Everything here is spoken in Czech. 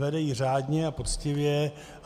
Vede ji řádně a poctivě.